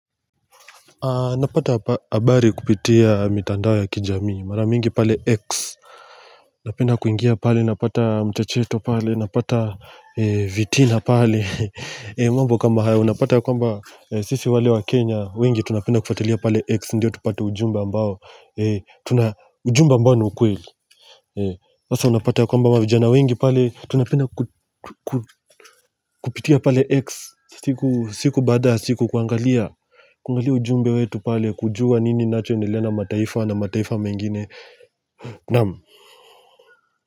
Napata habari kupitia mitandao ya kijamii, mara mingi pale X Napenda kuingia pale, napata mchacheto pale, napata vitina pale mambo kama haya, unapata ya kwamba sisi wale wa Kenya wengi tunapenda kufuatilia pale X, ndiyo tupate ujumbe ambao ujumbe ambao ni kweli hasa unapata ya kwamba vijana wengi pale, tunapenda kupitia pale X siku, siku baada ya siku kuangalia Kuangali ujumbe wetu pale kujua nini inacho endelea na mataifa na mataifa mengine Naam.